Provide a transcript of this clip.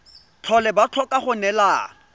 tlhole ba tlhoka go neelana